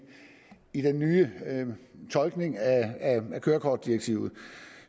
i den nye tolkning af kørekortdirektivet